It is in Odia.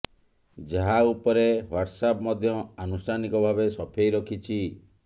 ଯାହା ଉପରେ ହ୍ବାଟସଆପ୍ ମଧ୍ୟ ଆନୁଷ୍ଠାନିକ ଭାବେ ସଫେଇ ରଖିଛି